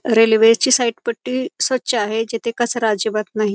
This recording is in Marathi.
रेल्वे ची साइड पट्टी स्वच्छ आहे जिथे कचरा अजिबात नाही.